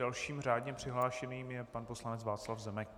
Dalším řádně přihlášeným je pan poslanec Václav Zemek.